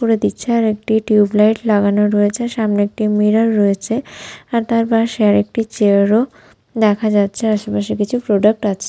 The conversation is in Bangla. অফ করে দিচ্ছে আর একটি টিউব লাইট লাগানো রয়েছে সামনে একটি মিরর রয়েছে আর তার পাশে আরেকটি চেয়ার ও দেখা যাচ্ছে আশেপাশে কিছু প্রোডাক্ট আছে--